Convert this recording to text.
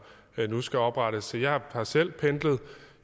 nu skal oprettes jeg har selv